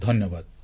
ଧନ୍ୟବାଦ